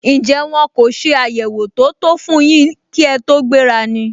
Njẹ́ wọ́n kò se àyẹwò tó tó fún yín kí ẹ tó gbéra ni?